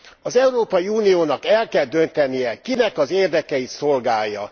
Az Európai Uniónak el kell döntenie kinek az érdekeit szolgálja.